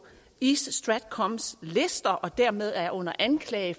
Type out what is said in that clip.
east stratcoms lister og dermed er under anklage